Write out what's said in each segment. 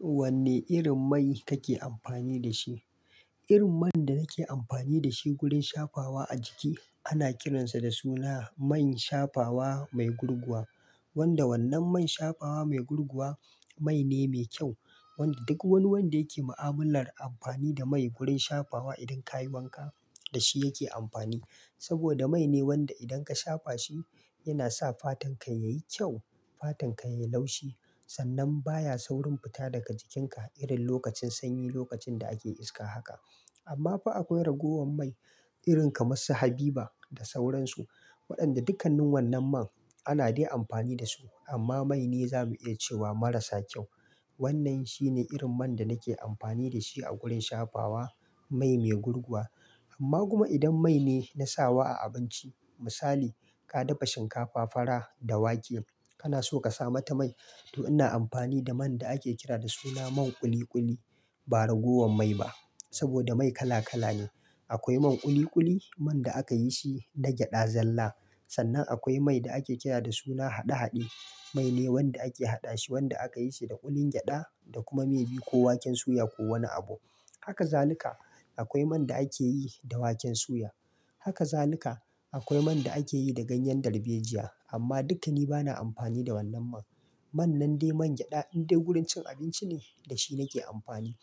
Wanne irin mai kake amfani da shi? Irin man da nake amfani da shi gurin shafawa a jiki ana kiransa da suna main shafawa mai gurguwa, wanda wannan main shafawa mai gurguwa mai ne mai kyau. Wanda duk wani wanda yake ma'amalar amfani da mai gurin shafawa idan ka yi wanka da shi yake amfani. Saboda mai ne wanda idan ka shafa shi yana sa fatar ka yayi kyau, fatar ka yayi laushi. Sannan baya saurin fita daga jikin ka irin lokacin sanyi, lokacin da ake iska haka. Amma fa akwai ragowan mai irin kamar su Habiba da sauransu, waɗanda dukkannin wannan man ana dai amfani da su. Amma mai ne za mu iya cewa marasa kyau. Wannnan shi ne irin man da nake amfani da shi a gurin shafawa, mai mai gurguwa. Amma kuma idan mai ne na sawa a abinci misali ka dafa shinkafa fara da wake kana so ka sa mata mai, to ina amfani da man da ake kira da suna man ƙuli ƙuli. Ba ragowan mai ba saboda mai kala kala ne. Akwai man kuli kuli, man da aka yi shi da gyaɗa zalla. Sannan akwai mai da ake kira da suna haɗe haɗe. Mai ne wanda ake haɗa shi, wanda aka yi shi da ƙulin gyaɗa da kuma mai biyu ko waken suya ko wani abu. Haka zalika akwai man da ake yi da waken suya. Haka zalika akwai man da ake yi da ganyen darbejiya amma dukkani bana amfani da wannan man. Man nan dai man gyaɗa in dai gurin cin abinci ne da shi nake amfani.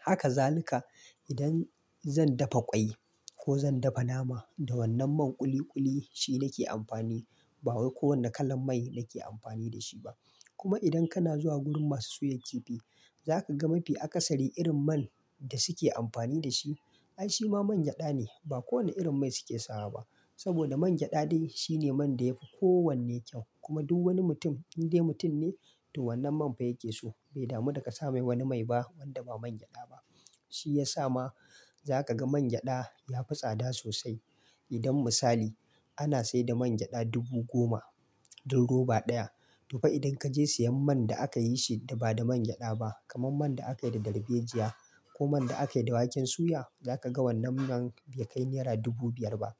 Haka zalika idan zan dafa ƙwai ko zan dafa nama da wannan man ƙuli ƙuli shi nake amfani. Ba wai ko wanda kalan mai nake amfani da shi ba. Kuma idan kana zuwa gurin masu soya kifi za ka ga mafi akasari irin man da suke amfani da shi ai shi ma man gyaɗa ne. Ba kowane irin mai suke sawa ba saboda man gyaɗa dai shi ne man da yafi kowanne kyau kuma duk wani mutum in dai mutum ne to wannan man fa yake so. Bai damu da ka sa mai wani mai ba wanda ba man gyaɗa ba. Shi ya sa ma za ka ga man gyaɗa ya fi tsada sosai. Idan misali ana saida man gyaɗa dubu goma din roba ɗaya to fa idan kaje siyan man da aka yi shi da ba da man gyaɗa ba kamar man da aka yi da darbejiya ko man da aka yi da waken suya za ka ga wannan man bai kai naira dubu biyar ba.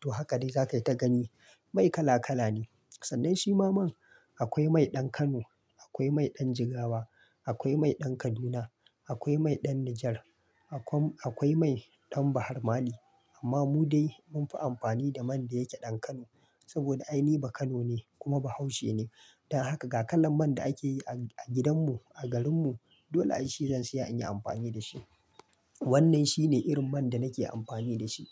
To haka dai za ka yi ka gani mai kala kala ne. Sannan shi ma man akwai mai ɗan Kano, akwai mai ɗan Jigawa, akwai mai ɗan Kaduna, akwai mai ɗan Niger, akwai mai ɗan Bahar Mali amma mu dai mun fi amfani da man da yake ɗan Kano saboda ai ni baano ne kuma bahaushe ne. Dan haka ga kalan man da ake yi a gidanmu a garinmu dole ai shi zan saya in yi amfani da shi. Wannnan shi ne irin man da nake amfani da shi.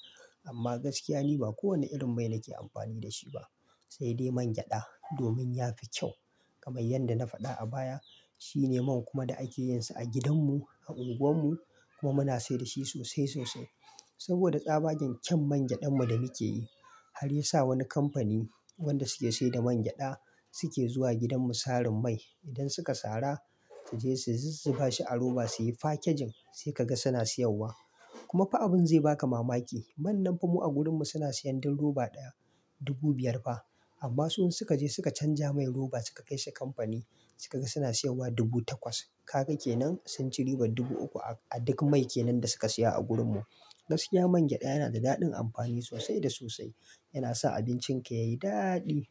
Amma gaskiya ni ba kowane irin mai nake amfani da shi ba sai dai man gyaɗa domin ya fi kyau. Kamar yadda na faɗa a baya shi ne man kuma da ake yin sa a gidanmu a unguwar mu kuma muna sayar da shi sosai sosai saboda tsabagen kyau man gyaɗan mu da muke yi. Har ya sa wani kamfani wanda suke saida man gyaɗa suke zuwa gidanmu sarin mai. Idan suka sara su je su zu zubashi a roba suyi fakijin sai ka ga suna sayarwa. Kuma fa abin zai baka mamaki. Man nan fa mu a gurinmu suna siyan din roba ɗaya dubu biyar ba amma su in suka je suka canja mai roba suka kai shi kamfani suka ga suna sayarwa dubu takwas. Ka ga kenan sun ci riba dubu uku a duk mai kenan da suka saya a gurinmu. Gaskiya man gyaɗa yana da daɗin amfani sosai da sosai. Yana sa abincin ka yayi daɗi.